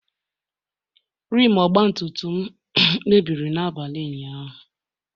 rim ọgbatumtum m mebiri n'abalị ụnyahụ